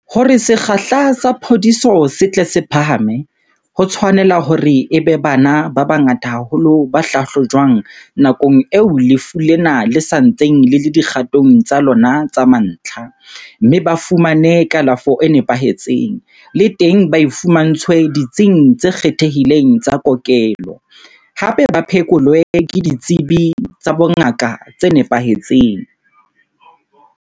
Hore sekgahla sa phodiso se tle se phahame, ho tshwanela hore e be bana ba bangata haholo ba hlahlojwang nakong eo lefu lena le sa ntseng le le dikgatong tsa lona tsa mantlha, mme ba fumane kalafo e nepahetseng, le teng ba e fumantshwe ditsing tse kgethehileng tsa kokelo, hape ba phekolwe ke ditsebi tsa bongaka tse nepahetseng.